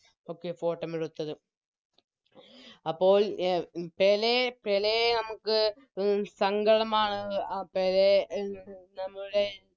ഒക്കെ Photo എടുത്തത് അപ്പോൾ പെലെ പെലെ നമുക്ക് അഹ് സങ്കടമാണ് ആ പെലെ നമ്മുടെ